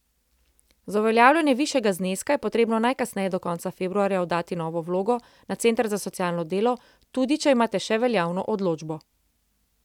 Za uveljavljanje višjega zneska je potrebno najkasneje do konca februarja oddati novo vlogo na center za socialno delo tudi, če imate še veljavno odločbo.